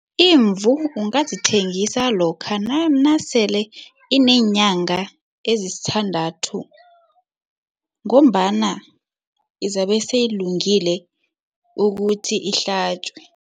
Imvu ungazithengisa lokha nasele ineenyanga ezisithandathu ngombana izabe seyilungile ukuthi ihlatjwe.